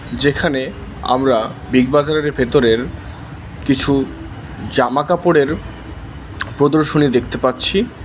যেখানে আমরা বিগবাজারের ভেতরের কিছু জামাকাপড়ের প্রদর্শনী দেখতে পাচ্ছি।